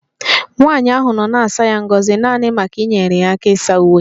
Nwanyị ahụ nọ na-asa ya ngọzi naanị maka inyere ya aka ịsa uwe